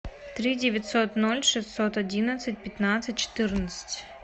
три девятьсот ноль шестьсот одиннадцать пятнадцать четырнадцать